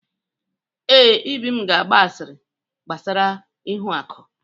Ee, Ibim ga-agba asịrị gbasara ihuaku.